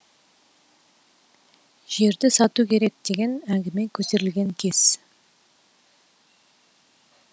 жерді сату керек деген әңгіме көтерілген кез